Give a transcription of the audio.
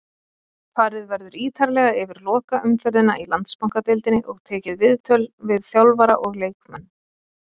Farið verður ítarlega yfir lokaumferðina í Landsbankadeildinni og tekið viðtöl við þjálfara og leikmenn.